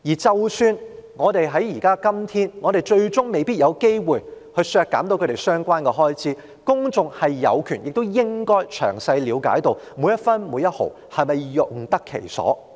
即使今天最終我們未必有機會削減其預算開支，但公眾也有權詳細了解當中的每分每毫是否用得其所。